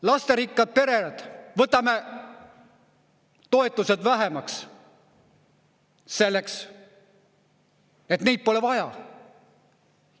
Lasterikkad pered – võtame toetused vähemaks, selleks et neid pole vaja.